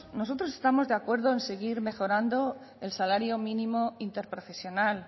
nosotros estamos de acuerdo en seguir mejorando el salario mínimo interprofesional